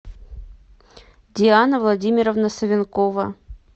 диана владимировна савенкова